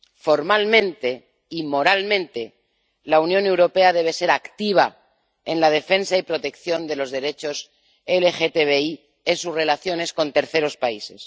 Formalmente, y moralmente, la Unión Europea debe ser activa en la defensa y protección de los derechos LGTBI en sus relaciones con terceros países.